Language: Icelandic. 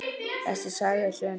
Þessi saga er sönn.